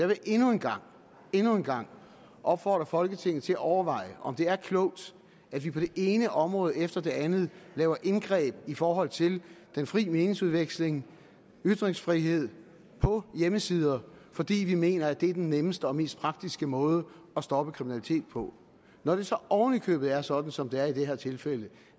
vil endnu en gang endnu en gang opfordre folketinget til at overveje om det er klogt at vi på det ene område efter det andet laver indgreb i forhold til den frie meningsudveksling ytringsfriheden på hjemmesider fordi vi mener at det er den nemmeste og mest praktiske måde at stoppe kriminalitet på når det så oven i købet er sådan som det er i det her tilfælde